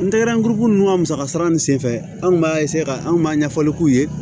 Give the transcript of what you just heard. N tɛgɛrɛ kuru ninnu ka musaka sara ni senfɛ an b'a ka anw maa ɲɛfɔli k'u ye